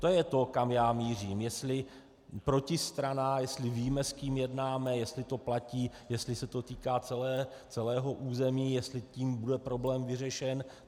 To je to, kam já mířím, jestli protistrana, jestli víme, s kým jednáme, jestli to platí, jestli se to týká celého území, jestli tím bude problém vyřešen.